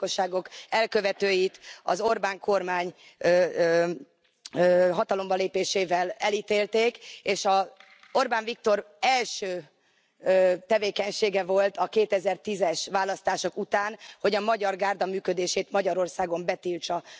A romagyilkosságok elkövetőit az Orbán kormány hatalomra lépésével elítélték, és Orbán Viktor első tevékenysége volt a 2010 es választások után, hogy a Magyar Gárda működését Magyarországon betiltsa.